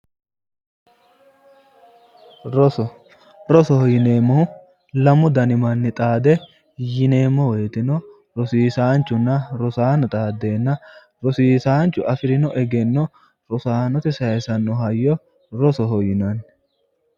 Roso, rosoho yineemmohu lamu dani manni xaade yineemmo woyiiteno rosiisaanchunna rosaano xaaddeenna rosiisaanchu afirino egenno rosaanote saayiisanno hayyo rosoho yinanni.